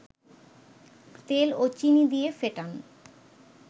তেল ও চিনি দিয়ে ফেটান